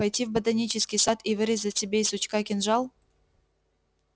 пойти в ботанический сад и вырезать себе и сучка кинжал